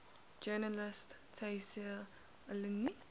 journalist tayseer allouni